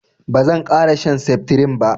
bazan kara shan septirin ba